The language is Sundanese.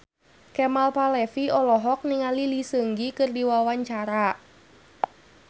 Kemal Palevi olohok ningali Lee Seung Gi keur diwawancara